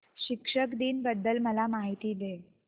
शिक्षक दिन बद्दल मला माहिती दे